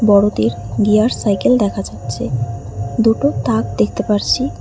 বড়দের gear cycle দেখা যাচ্ছে দুটো তাক দেখতে পারছি।